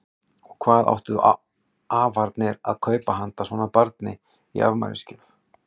Og hvað áttu afarnir að kaupa handa svona barni í afmælisgjöf?